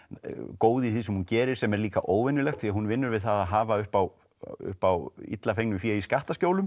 góð í því sem hún gerir sem er líka óvenjulegt því hún vinnur við það að hafa upp á upp á illa fengnu fé í skattaskjólum